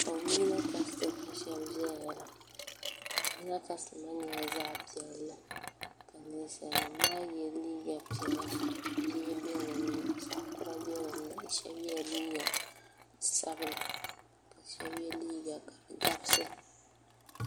o limina kasili n ʒɛya la o limina kasili nyɛla zaɣ piɛli ka nɛsali nɛm maa yɛ liga pɛli bihi bɛ dini zaɣ kuri bɛ dini shɛbi yɛla liga sabila ka shɛbi yɛ liga ka di gabisi